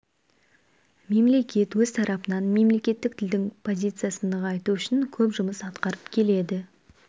мемлекет өз тарапынан мемлекеттік тілдің позициясын нығайту үшін көп жұмыс атқарып келеді